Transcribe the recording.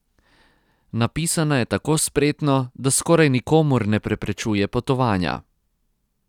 Napisana je tako spretno, da skoraj nikomur ne preprečuje potovanja.